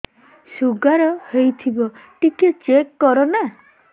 sugar ହେଇଥିବ ଟିକେ check କର ନା